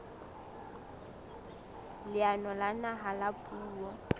leanong la naha la puo